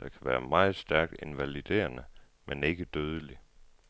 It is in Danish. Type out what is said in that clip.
der kan være stærkt invaliderende men ikke dødelig.